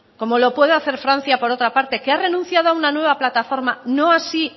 como lo puede hacer francia por otra parte que ha renunciado a una nueva plataforma no así